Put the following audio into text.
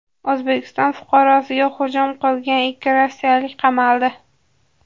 O‘zbekiston fuqarosiga hujum qilgan ikki rossiyalik qamaldi.